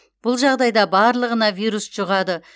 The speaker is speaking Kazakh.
бұл жағдайда барлығына вирус жұғады